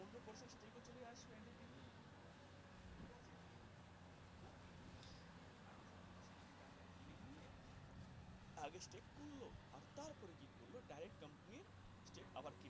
আগে আর তারপরে কী করল direct company আবার